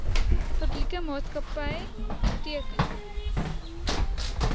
publieke maatskapy teken